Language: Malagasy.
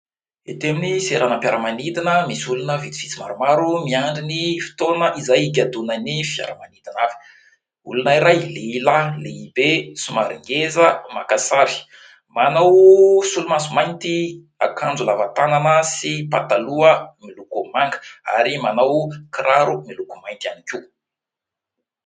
Ety amin'ny seranam-piaramanidina misy olona vitsivitsy maromaro miandry ny fotoana izay higadonany fiaramanidina. Olona iray, lehilahy lehibe somary ngeza, maka sary manao solomaso mainty, akanjo lavatanana sy pataloha miloko manga ary manao kiraro miloko mainty ihany koa.